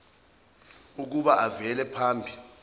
ukuba avele phambi